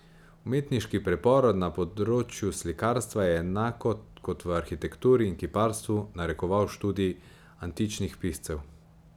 Umetniški preporod na področju slikarstva je, enako kot v arhitekturi in kiparstvu, narekoval študij antičnih piscev.